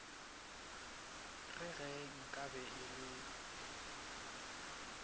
re ge nkabe e le